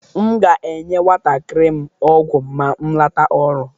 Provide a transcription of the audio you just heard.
M ga-enye nwantakịrị m ọgwụ ma m lata ọrụ.